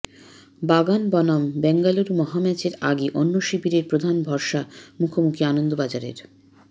বাগান বনাম বেঙ্গালুরু মহাম্যাচের আগে অন্য শিবিরের প্রধান ভরসা মুখোমুখি আনন্দবাজারের